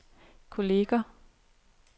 kolleger